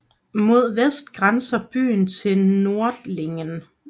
Mod vest grænser byen til Nördlingen